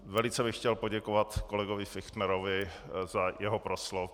Velice bych chtěl poděkovat kolegovi Fichtnerovi, za jeho proslov.